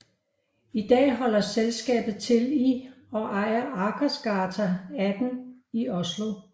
I dag holder selskabet til i og ejer Akersgata 18 i Oslo